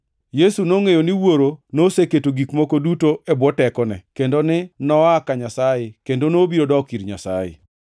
Yesu nongʼeyo ni Wuoro noseketo gik moko duto e bwo tekone, kendo ni noa ka Nyasaye kendo nobiro dok ir Nyasaye;